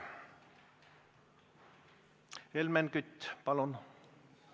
Helmen Kütt, palun!